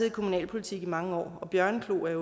i kommunalpolitik i mange år og bjørneklo er